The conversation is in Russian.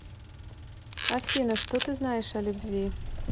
афина что ты знаешь о любви